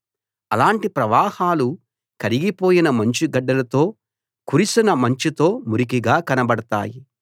అలాంటి ప్రవాహాలు కరిగిపోయిన మంచుగడ్డలతో కురిసిన మంచుతో మురికిగా కనబడతాయి